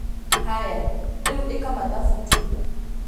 Haya rĩu ĩka mathabu tu!